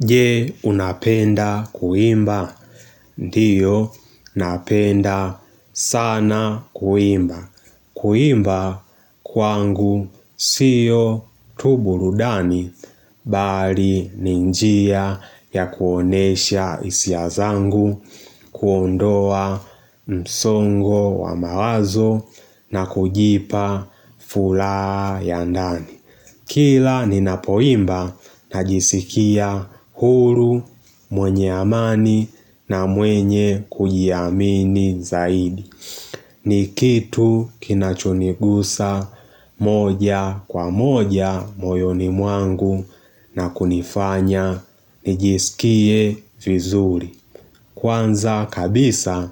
Je unapenda kuimba? Ndiyo, napenda sana kuimba. Kuimba kwangu siyo tu burudani, bali ni njia ya kuonesha isia zangu, kuondoa msongo wa mawazo na kujipa fulaa ya ndani. Kila ninapoimba n jisikia huru mwenye amani na mwenye kujiamini zaidi. Ni kitu kinachonigusa moja kwa moja moyoni mwangu na kunifanya nijisikie vizuri. Kwanza kabisa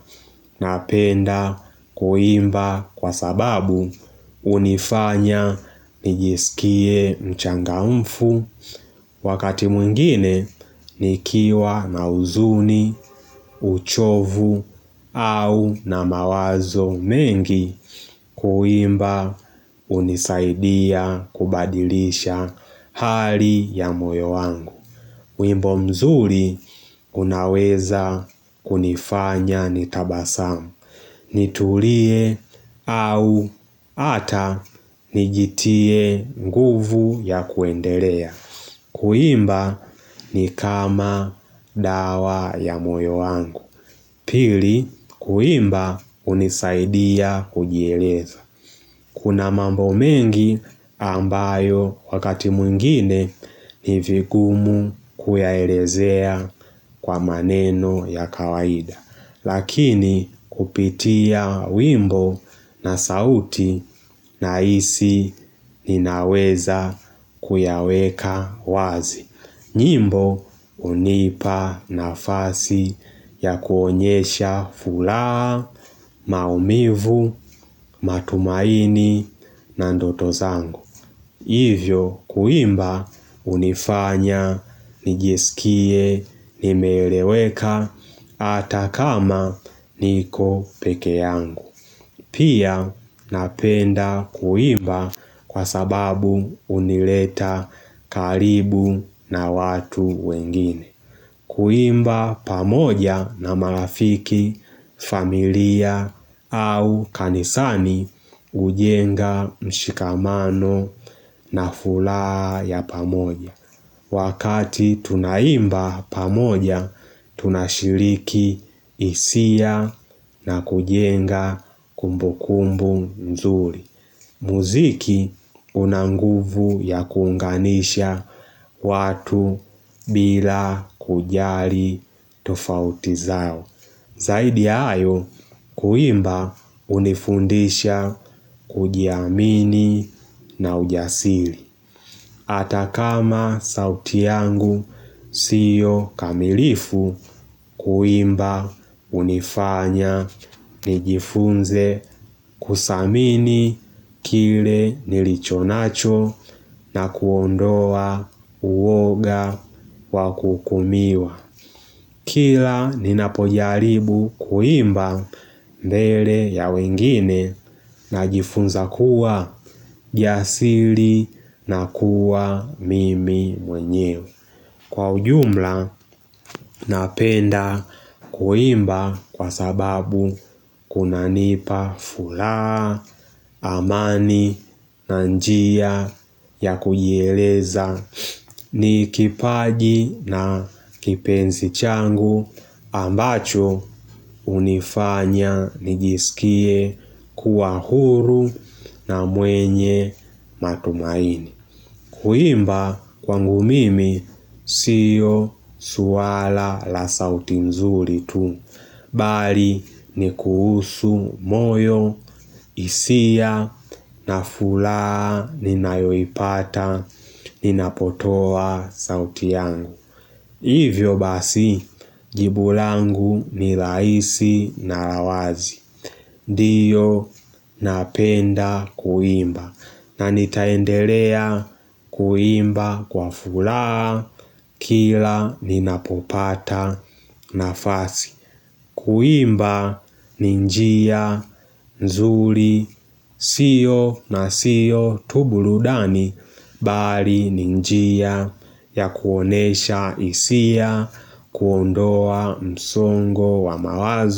napenda kuimba kwa sababu unifanya nijisikie mchangamfu Wakati mwingine nikiwa na huzuni, uchovu au na mawazo mengi kuimba unisaidia kubadilisha hali ya moyo wangu wimbo mzuri unaweza kunifanya nitabasamu nitulie au hata nijitie nguvu ya kuendelea Kuimba ni kama dawa ya moyo wangu Pili kuimba unisaidia kujieleza Kuna mambo mengi ambayo wakati mwingine ni vigumu kuyaerezea kwa maneno ya kawaida. Lakini kupitia wimbo na sauti nahisi ninaweza kuyaweka wazi. Nyimbo hunipa nafasi ya kuonyesha fulaa, maumivu, matumaini na ndoto zangu. Hivyo kuimba hunifanya, nijisikie, nimeeleweka ata kama niko peke yangu. Pia napenda kuimba kwa sababu unileta karibu na watu wengine. Kuimba pamoja na marafiki, familia au kanisani ujenga mshikamano na fulaa ya pamoja. Muziki una nguvu ya kuunganisha watu bila kujali tofauti zao. Zaidi ya ayo kuimba unifundisha kujiamini na ujasili. Ata kama sauti yangu siyo kamilifu kuimba unifanya nijifunze kusamini kile nilichonacho na kuondoa uoga wa kuukumiwa. Kila ninapojaribu kuimba mbele ya wengine najifunza kuwa jasiri na kuwa mimi mwenyewe Kwa ujumla napenda kuimba kwa sababu kunanipa fula amani na njia ya kujieleza ni kipaji na kipenzi changu ambacho unifanya nijisikie kuwa huru na mwenye matumaini Kuimba kwangu mimi siyo suala la sauti nzuri tu Bali ni kuhusu moyo isia na fulaa ninayoipata ninapotoa sauti yangu. Hivyo basi, jibu langu ni laisi na la wazi. Ndiyo napenda kuimba. Na nitaendelea kuimba kwa fulaa kila ninapopata nafasi. Kuimba ni njia, nzuri, sio na sio tu buludani, bali ni njia ya kuonesha isia, kuondoa msongo wa mawazo.